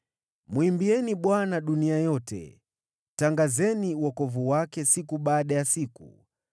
Mwimbieni Bwana dunia yote; tangazeni wokovu wake siku baada ya siku.